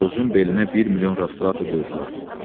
Orucun belinə bir milyon rastrata qoyurdular.